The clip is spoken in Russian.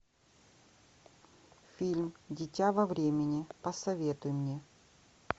фильм дитя во времени посоветуй мне